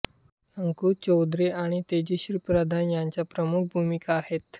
अंकुश चौधरी आणि तेजश्री प्रधान यांच्या प्रमुख भूमिका आहेत